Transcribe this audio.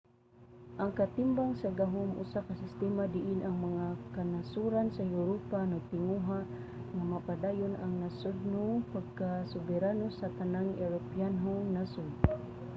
ang katimbang sa gahom usa ka sistema diin ang mga kanasoran sa europa nagtinguha nga mapadayon ang nasodnong pagkasoberano sa tanang europanhong nasod